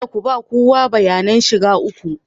Kada ku ba kowa bayanan shiga ku